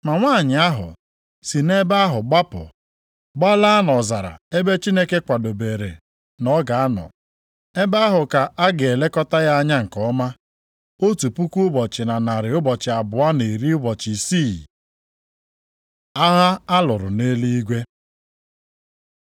Ma nwanyị ahụ si nʼebe ahụ gbapụ gbalaa nʼọzara ebe Chineke kwadebere na ọ ga-anọ. Ebe ahụ ka a ga-elekọta ya anya nke ọma otu puku ụbọchị na narị ụbọchị abụọ na iri ụbọchị isii (1,260). Agha a lụrụ nʼeluigwe